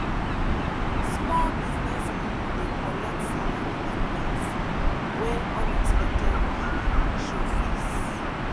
small business people dey collect salary advance when unexpected wahala show face.